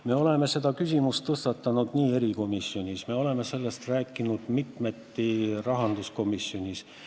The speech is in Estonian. Me oleme selle küsimuse tõstatanud erikomisjonis, me oleme sellest mitmeti rääkinud rahanduskomisjonis.